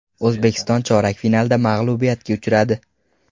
O‘zbekiston chorak finalda mag‘lubiyatga uchradi.